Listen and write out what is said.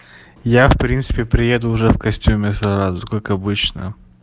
я в принципе приеду уже в костюме сразу как обычно